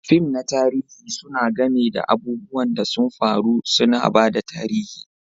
Fim na tarihi suna game da abubuwan da sun faru, suna ba da tarihi.